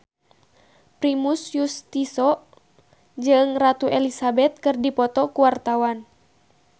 Primus Yustisio jeung Ratu Elizabeth keur dipoto ku wartawan